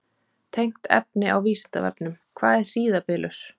Tengt efni á Vísindavefnum: Hvað er hríðarbylur?